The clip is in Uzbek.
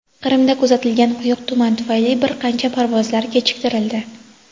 Qrimda kuzatilgan quyuq tuman tufayli bir qancha parvozlar kechiktirildi.